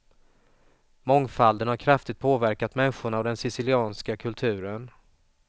Mångfalden har kraftigt påverkat människorna och den sicilianska kulturen.